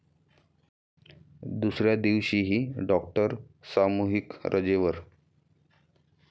दुसऱ्या दिवशीही डॉक्टर सामूहिक रजेवर